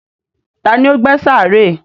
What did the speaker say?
Tani ó gbẹ́ sàárè?